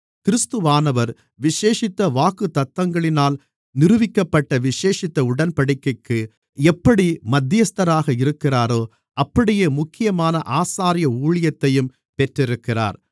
கிறிஸ்துவானவர் விசேஷித்த வாக்குத்தத்தங்களினால் நிறுவிக்கப்பட்ட விசேஷித்த உடன்படிக்கைக்கு எப்படி மத்தியஸ்தராக இருக்கிறாரோ அப்படியே முக்கியமான ஆசாரிய ஊழியத்தையும் பெற்றிருக்கிறார்